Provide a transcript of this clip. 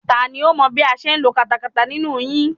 Tani ó mọ bí a ṣe ń lo katakata nínú yín?